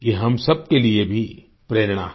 ये हम सबके लिए भी प्रेरणा है